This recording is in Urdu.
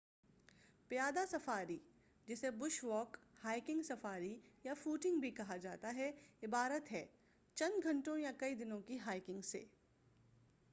پیادہ سفاری جسے بش واک”، ہائکنگ سفاری” یا فوٹنگ” بھی کہا جا تا ہے عبارت ہے چند گھنٹوں یا کئی دنوں کی ہائکنگ سے۔